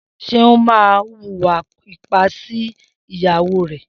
Seun mà n wúwà ìpá si ìyàwó rẹ